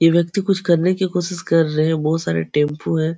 ई व्यक्ति कुछ करने की कोशिश कर रहे हैं। बहोत सारे टेम्पू हैं।